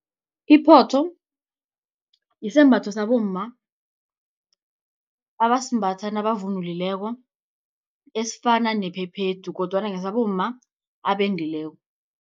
Iphotho sisembatho sabomma abasimbathi nabavunulileko esifana nephephethu kodwana ngesabomma abendileko.